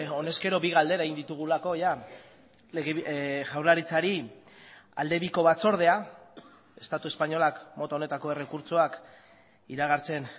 honezkero bi galdera egin ditugulako jaurlaritzari aldebiko batzordea estatu espainolak mota honetako errekurtsoak iragartzen